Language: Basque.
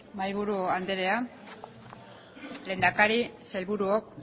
mahaiburu anderea lehendakari sailburuok